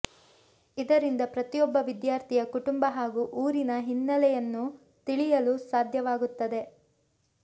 ಇದರಿಂದ ಪ್ರತಿಯೊಬ್ಬ ವಿದ್ಯಾರ್ಥಿಯ ಕುಟುಂಬ ಹಾಗೂ ಊರಿನ ಹಿನ್ನೆಲೆಯನ್ನು ತಿಳಿಯಲು ಸಾಧ್ಯವಾಗುತ್ತದೆ